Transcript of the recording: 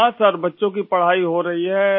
ہاں صاحب! بچے پڑھ رہے ہیں